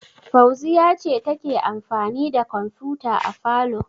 Fauziyya ce take amfani da kwamfuta a falo.